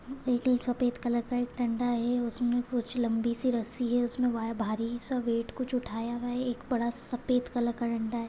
एक सफ़ेद कलर का एक दंडा है। उसमे कुछ लंबीसी रस्सी है। उसमे भारी सा वेट कुछ उठाया हुआ है। एक बड़ा सफ़ेद कलर का दंडा है।